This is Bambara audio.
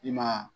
I ma